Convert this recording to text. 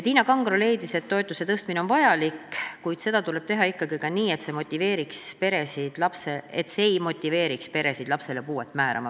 Tiina Kangro leidis, et toetuse tõstmine on vajalik, kuid seda tuleb teha ikkagi nii, et see ei motiveeriks peresid lapsele puude määramist taotlema.